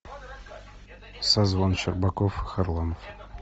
созвон щербаков и харламов